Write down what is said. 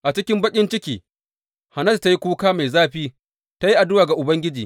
A cikin baƙin ciki, Hannatu ta yi kuka mai zafi ta yi addu’a ga Ubangiji.